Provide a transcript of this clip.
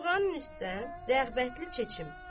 Yorğanın üstdən rəğbətli çeçim.